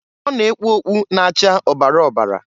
Ọ na-ekpu ọkpụ na-acha ọbara ọbara.